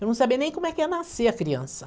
Eu não sabia nem como é que ia nascer a criança.